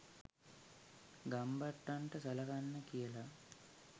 ගම්බට්ටන්ට සලකන්නෙ කියල